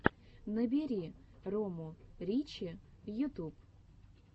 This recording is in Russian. набери рому ричи ютуб